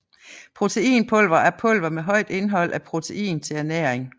Proteinpulver er pulver med højt indhold af protein til ernæring